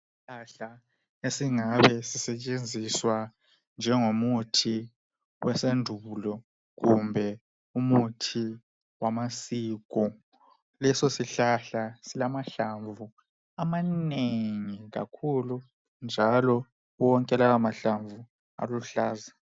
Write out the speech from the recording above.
Isihlahla esingabe sisetshenziswa njengomuthi wasendulo kumbe umuthi wamasiko. Leso sihlahla silakahlamvu amanengi kakhulu, njalo wonke lawo mahlamvu aluhlaza